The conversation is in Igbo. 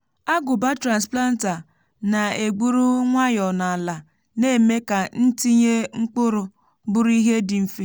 agụbá transplanter na-egburu nwayọ n’ala na-eme ka itinye mkpụrụ bụrụ ihe dị mfe.